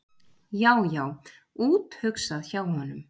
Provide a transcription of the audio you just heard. Já, já, úthugsað hjá honum!